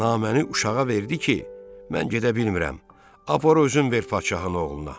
Naməni uşağa verdi ki, mən gedə bilmirəm, apar özün ver padşahın oğluna.